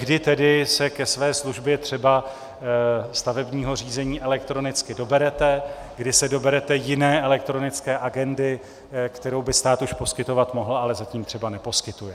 Kdy tedy se ke své službě, třeba stavebního řízení, elektronicky doberete, kdy se doberete jiné elektronické agendy, kterou by stát už poskytovat mohl, ale zatím třeba neposkytuje.